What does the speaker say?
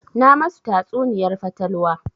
Na ma su tatsuniyar fatalwa